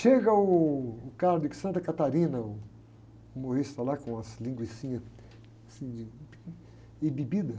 Chega uh, o cara de Santa Catarina, o humorista lá com as linguicinhas assim de, e bebida.